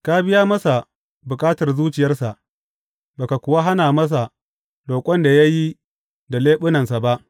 Ka biya masa bukatar zuciyarsa ba ka kuwa hana masa roƙon da ya yi da leɓunansa ba.